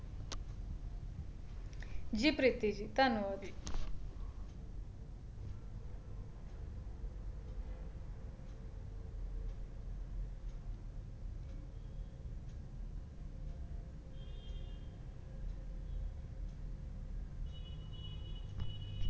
ਜੀ ਪ੍ਰੀਤਿ ਜੀ ਧੰਨਵਾਦ ਜੀ